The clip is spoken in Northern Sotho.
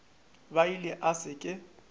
a ile a se ke